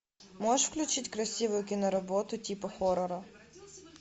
можешь включить красивую киноработу типа хоррора